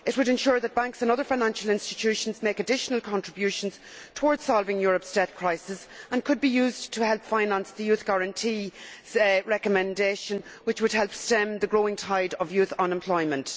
It would ensure that banks and other financial institutions make additional contributions towards solving Europe's debt crisis and could be used to help finance the Youth Guarantee recommendation, which would help stem the growing tide of youth unemployment.